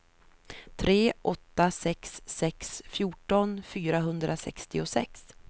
tre åtta sex sex fjorton fyrahundrasextiosex